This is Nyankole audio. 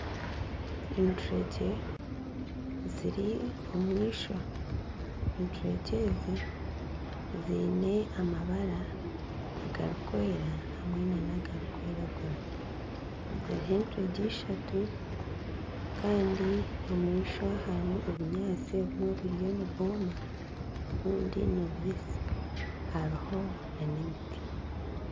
Enturegye ziri omu ishwa, enturegyezi ziine amabara, agarikwera hamwe nana agarikwiragura hariho enturegye ishatu kandi omu ishwa harimu obunyaatsi obumwe buriyo nibwoma obundi nibubisi hariho nana emiti